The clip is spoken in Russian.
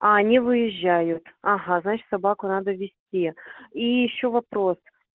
а они выезжают ага значит собаку надо вести и ещё вопрос